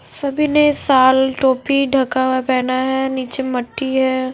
सभी ने साल टोपी ढका हुआ पहना है निचे मटी है।